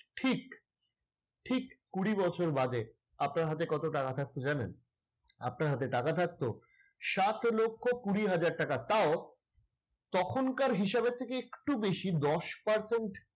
ঠিক, ঠিক কুড়ি বছর বাদে আপনার হাতে কত টাকা থাকতো জানেন? আপনার হাতে টাকা থাকতো সাত লক্ষ কুড়ি হাজার টাকা। তাও তখনকার হিসাবের থেকে একটু বেশি। দশ percentage